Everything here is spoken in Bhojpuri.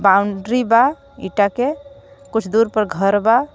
बाउंड्री बा इटा के कुछ दूर पर घर बा.